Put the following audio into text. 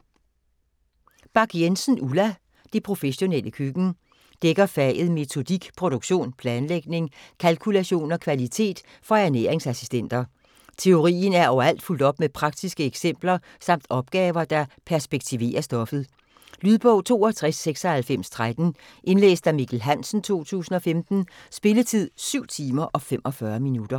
Bach Jensen, Ulla: Det professionelle køkken Dækker faget Metodik, produktion, planlægning, kalkulation og kvalitet for ernæringsassistenter. Teorien er overalt fulgt op med praktiske eksempler samt opgaver, der perspektiverer stoffet. Lydbog 629613 Indlæst af Mikkel Hansen, 2015. Spilletid: 7 timer, 45 minutter.